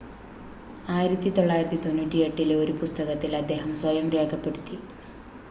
1998-ലെ ഒരു പുസ്തകത്തിൽ അദ്ദേഹം സ്വയം രേഖപ്പെടുത്തി